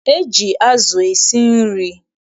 E ji azụ esi nri.